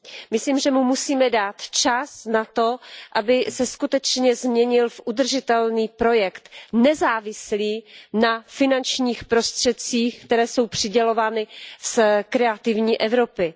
Myslím, že mu musíme dát čas na to, aby se skutečně změnil v udržitelný projekt, nezávislý na finančních prostředcích, které jsou přidělovány z programu Kreativní Evropa.